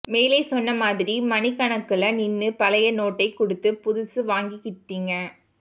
மேலே சொன்ன மாதிரி மணிக்கணக்குல நின்னு பழைய நோட்டைக் குடுத்து புதுசு வாங்கிட்டீங்க